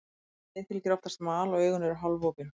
Um leið fylgir oftast mal og augun eru hálfopin.